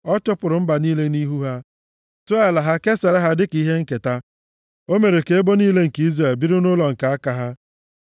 Ọ chụpụrụ mba niile nʼihu ha, tụọ ala ha kesara ha dịka ihe nketa; o mere ka ebo niile nke Izrel biri nʼụlọ nke aka ha.